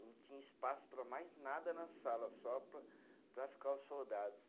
Não tinha espaço para mais nada na sala, só para para ficar os soldados.